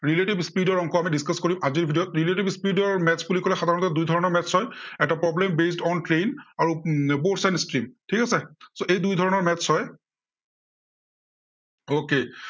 relative speed ৰ অংক আমি discuss কৰিম আজিৰ video ত। speed ৰ maths বুলি কলে সাধাৰণতে দুই ধৰণৰ maths হয়। এটা problem based on train আৰু উম both side speed ঠিক আছে, so এই দুই ধৰণৰ maths হয় okay